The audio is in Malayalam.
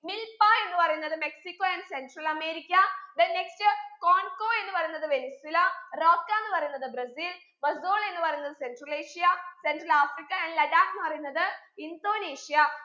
milpa എന്ന് പറയുന്നത് Mexico andcentral America then nextconco എന്ന് പറയുന്നത് വെനിൻസുല rocka ന്ന് പറയിന്നത് ബ്രസിൽ bazool എന്ന് പറയുന്നത് central asia central Africa andladak എന്ന് പറയുന്നത് ഇന്തോനേഷ്യ